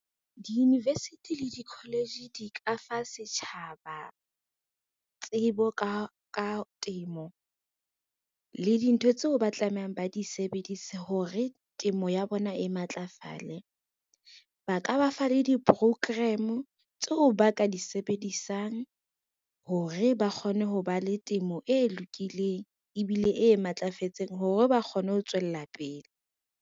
Di-university le di-college di ka fa setjhaba tsebo ka temo le dintho tseo ba tlamehang ba di sebedise hore temo ya bona e matlafale. Ba ka ba fa le di-program-o tseo ba ka di sebedisang, hore ba kgone ho ba le temo e lokileng ebile e matlafetseng hore ba kgone ho tswella pele.